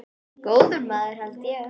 Góður maður held ég.